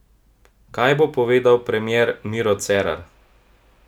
Kaj bo povedal premier Miro Cerar?